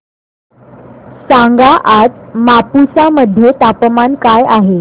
सांगा आज मापुसा मध्ये तापमान काय आहे